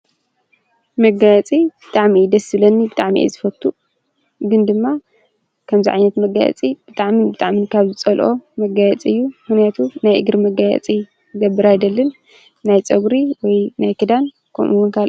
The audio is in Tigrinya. መጋየፂ ብጣዕሚ እዩ ደስ ዝብለኒ ብጣዕሚ እዩ ዝፈቱ፣ ግን ድማ ከምዚ ዓይነት መጋየፂ ብጣዕሚ ብጣዕሚ ዝፀልኦ መጋየፂ እዩ ። ምክንያቱ ናይ እግሪ መጋየፂ ክገብር አይደልን። ናይ ፅጉሪ ወይ እውን ናይ ክዳን ከምኡ እውን ካለእ።